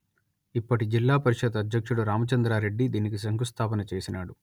ఇప్పటి జిల్లా పరిషత్ అధ్యక్షుడు రామచంద్రా రెడ్డి దీనికి శంఖుస్థాపన చేసినాడు